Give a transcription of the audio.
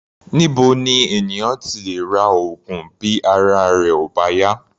Níbo ni ènìyàn ti lè ra oògùn bí ara rẹ̀ ò bá yá?